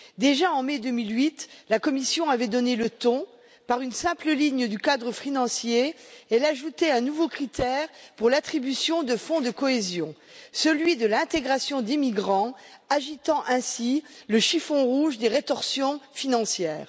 Déjà, en mai 2008, la Commission avait donné le ton par une simple ligne du cadre financier, elle ajoutait un nouveau critère pour l'attribution de fonds de cohésion, celui de l'intégration d'immigrants, agitant ainsi le chiffon rouge des rétorsions financières.